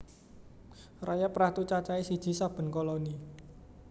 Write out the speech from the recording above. Rayap ratu cacahé siji saben koloni